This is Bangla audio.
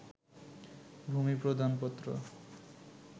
ভূমি প্রদানপত্র